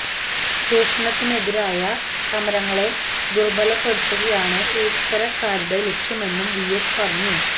ചൂഷണത്തിനെതിരായ സമരങ്ങളെ ദുബലപ്പെടുത്തുകയാണ് ഇത്തരക്കാരുടെ ലക്ഷ്യമെന്നും വി എസ് പറഞ്ഞു